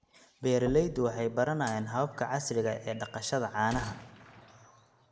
Beeraleydu waxay baranayaan hababka casriga ah ee dhaqashada caanaha.